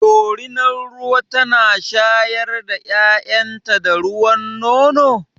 Dorunar ruwa tana shayar da ƴaƴan ta da ruwan nono?